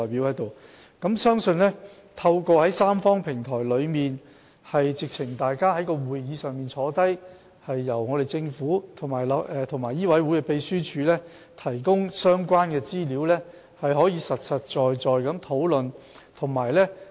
我相信透過這個三方平台，大家可以坐下來，由政府和醫委會秘書處提供相關資料，進行實在的討論。